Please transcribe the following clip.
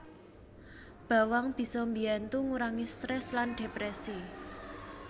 Bawang bisa mbiyantu ngurangi strèss lan dhèprèsi